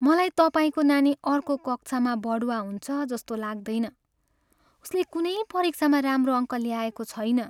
मलाई तपाईँको नानी अर्को कक्षामा बढुवा हुन्छ जस्तो लाग्दैन। उसले कुनै परीक्षामा राम्रो अङ्क ल्याएको छैन।